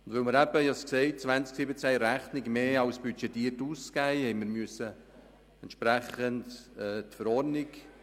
Weil wir 2017 in der Rechnung mehr als budgetiert ausgegeben haben, mussten wir die Verordnung entsprechend anpassen.